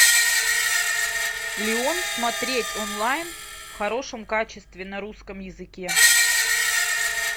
леон смотреть онлайн в хорошем качестве на русском языке